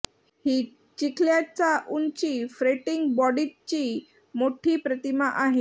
ही चिखल्याचा उंची फ्रेटींग बॉडीजची मोठी प्रतिमा आहे